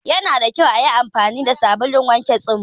Yana da kyau ayi anfani fa sabulun wanke tsuma